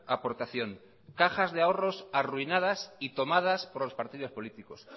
aportación cajas de ahorros arruinadas y tomadas por los partidos políticos